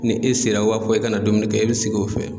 Ni e sera wa o b'a fɔ ke ka na domini kɛ e bi sigi o fɛ